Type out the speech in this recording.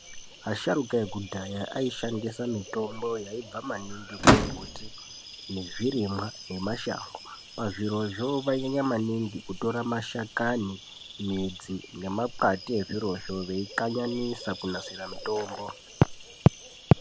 Asharuka ekudhaya aishandisa mitombo yaibva maningi kumbuti, nezvirimwa nemashango. Pazvirozvo, vainyanya maningi kutora mashakani, midzi nemakwati ezvirozvo, veikanyanidza kunasire mitombo.